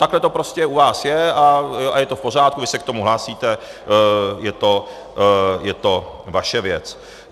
Takhle to prostě u vás je a je to v pořádku, vy se k tomu hlásíte, je to vaše věc.